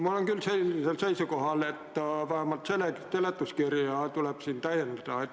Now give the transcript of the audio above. Ma olen küll seisukohal, et vähemalt seletuskirja tuleb täiendada.